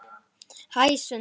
Hæ, Sunna.